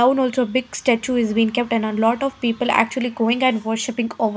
Town also big statue is been kept and a lot of people actually going and worshipping over.